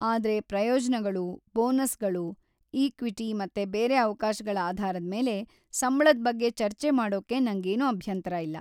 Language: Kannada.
ಆದ್ರೆ ಪ್ರಯೋಜನಗಳು, ಬೋನಸ್‌ಗಳು, ಇಕ್ವಿಟಿ ಮತ್ತೆ ಬೇರೆ ಅವ್ಕಾಶಗಳ ಆಧಾರದ್ಮೇಲೆ ಸಂಬ್ಳದ್ ಬಗ್ಗೆ ಚರ್ಚೆ ಮಾಡೋಕೆ ನಂಗೇನು ಅಭ್ಯಂತರ ಇಲ್ಲ.